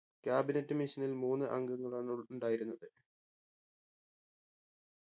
cabinet mission ൽ മൂന്ന് അംഗങ്ങളാണുൾ ഉണ്ടായിരുന്നത്